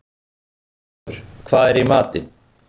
Guðráður, hvað er í matinn?